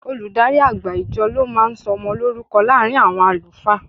Olùdarí àgbà ìjọ ló máa ń sọ ọmọ lórúkọ láàárín àwọn àlùfáà.